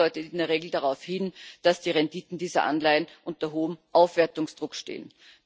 Das deutet in der Regel darauf hin, dass die Renditen dieser Anleihen unter hohem Aufwertungsdruck stehen.